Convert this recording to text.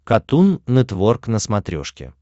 катун нетворк на смотрешке